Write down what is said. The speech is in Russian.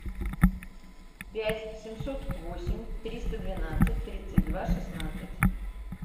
пять семьсот восемь триста двенадцать тридцать два шестнадцать